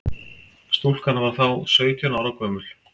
Stúlkan var þá sautján ára gömul